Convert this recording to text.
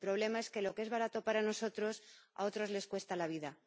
El problema es que lo que es barato para nosotros, a otros les cuesta la vida.